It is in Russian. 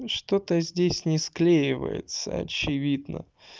что-то здесь не склеивается очевидно